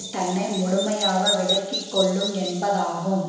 தன்னை முழுமையாக விலக்கி கொள்ளும் என்பதாகும்